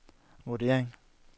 vurdering